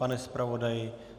Pane zpravodaji?